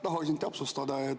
Tahaksin täpsustada.